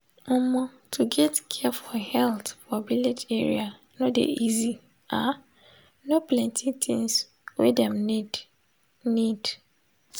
omo to get care for health for village area no dey easy ah no plenti things wey dem need. need.